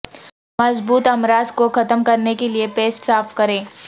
مضبوط امراض کو ختم کرنے کے لئے پیسٹ صاف کریں